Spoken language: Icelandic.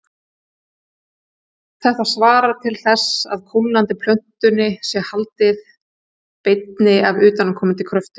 Þetta svarar til þess að kólnandi plötunni sé haldið beinni af utanaðkomandi kröftum.